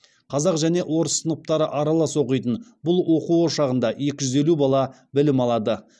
қазақ және орыс сыныптары аралас оқитын бұл оқу ошағында екі жүз елу бала білім алады